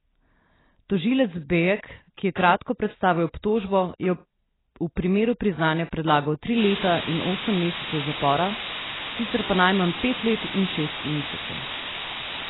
Tožilec Bejek, ki je kratko predstavil obtožbo, je v primeru priznanja predlagal tri leta in osem mesecev zapora, sicer pa najmanj pet let in šest mesecev.